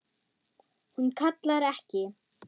Hún kallar ekki: